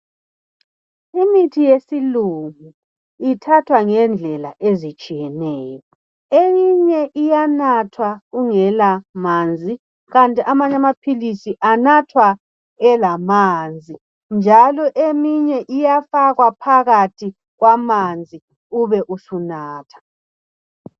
Imitshina yesilungu Iphathwa ngendlela ezitshiyeneyo eyinye iyanathwa ungela Manzi kanti amanye amaphilisi anathwa elamanzi njalo eminye uyafakwa phakathi kwamanzi ibe isinathwa